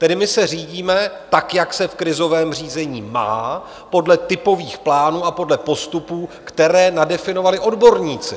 Tedy my se řídíme tak, jak se v krizovém řízení má podle typových plánů a podle postupů, které nadefinovali odborníci.